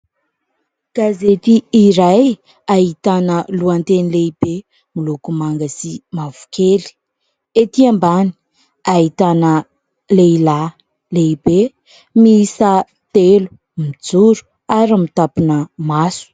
Gazety iray ahitana lohateny lehibe moloko manga sy mavokely, ety ambany ahitana lehilahy lehibe miisa telo mijoro ary mitampina maso.